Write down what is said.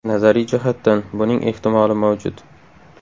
Nazariy jihatdan, buning ehtimoli mavjud.